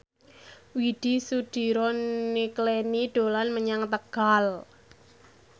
Widy Soediro Nichlany dolan menyang Tegal